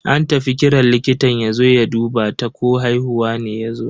An tafi kiran likitan yazo ya duba ta ko haihuwa ne yazo.